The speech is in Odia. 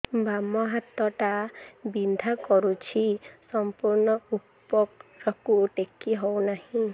ବାମ ହାତ ଟା ବିନ୍ଧା କରୁଛି ସମ୍ପୂର୍ଣ ଉପରକୁ ଟେକି ହୋଉନାହିଁ